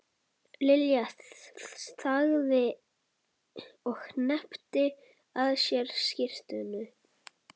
Lilja þagði og hneppti að sér skyrtunni.